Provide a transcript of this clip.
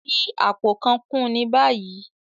Fi apó kàn kún ní báyìí!